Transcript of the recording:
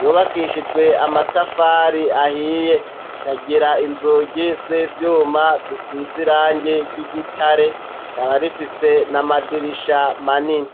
yobakishijwe amatafari ahiye kagira inzugi z'evyuma zisizirange ry'igitare rikaba rifise na amadirisha manini.